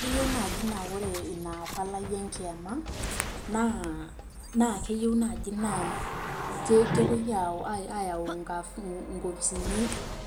Keyieu naaji naa ore ina palai enkiama, naa keyieu naaji nepoi ayau nkopisini